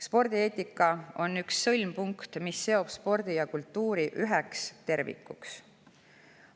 Spordieetika on üks sõlmpunkte, mis seob spordi ja kultuuri üheks tervikuks.